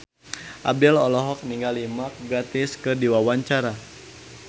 Abdel olohok ningali Mark Gatiss keur diwawancara